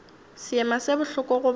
seema se bohloko go banna